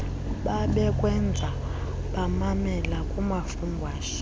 babekwenza bamamela kumafungwashe